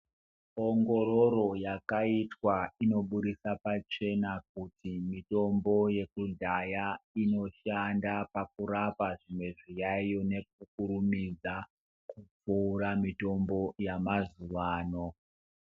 Ongororo yakaitwa inoburitsa pachena kuti mitombo yekudhaya inoshanda pakurapa zvimwe zviyayiyo nekukurumidza kupfuura mitombo yamazuvano.